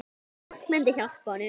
Fólk myndi hjálpa honum.